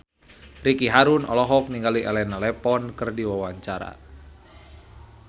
Ricky Harun olohok ningali Elena Levon keur diwawancara